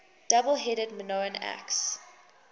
double headed minoan axe